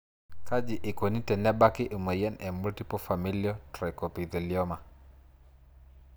Kaji eikoni tenebaki emoyian e multiple familial trichoepithelioma?